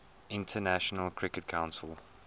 international cricket council